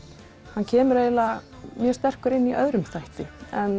hann kemur mjög sterkur inn í öðrum þætti